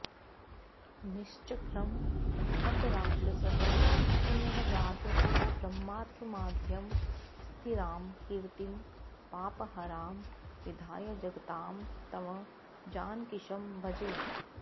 निश्चक्रं हतराक्षसः पुनरगाद् ब्रह्मत्वमाद्यं स्थिरां कीर्तिं पापहरां विधाय जगतां तं जानकीशं भजे